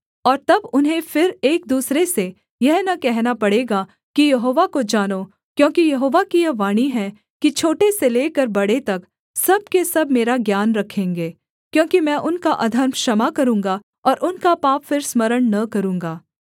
और तब उन्हें फिर एक दूसरे से यह न कहना पड़ेगा कि यहोवा को जानो क्योंकि यहोवा की यह वाणी है कि छोटे से लेकर बड़े तक सब के सब मेरा ज्ञान रखेंगे क्योंकि मैं उनका अधर्म क्षमा करूँगा और उनका पाप फिर स्मरण न करूँगा